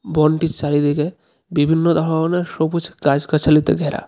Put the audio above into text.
বনটির চারিদিকে বিভিন্ন ধরনের সবুজ গাছগাছালিতে ঘেরা.